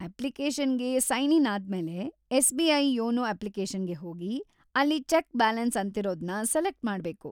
ಅಪ್ಲಿಕೇಶನ್‌ಗೆ sign in ಆದ್ಮೇಲೆ, ಎಸ್‌.ಬಿ.ಐ. ಯೋನೋ ಅಪ್ಲಿಕೇಶನ್‌ಗೆ ಹೋಗಿ, ಅಲ್ಲಿ ಚೆಕ್‌ ಬ್ಯಾಲೆನ್ಸ್‌ ಅಂತಿರೋದ್ನ ಸೆಲೆಕ್ಟ್‌ ಮಾಡ್ಬೇಕು.